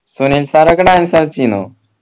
Sunil sir ഒക്കെ dance കളിച്ചീനോ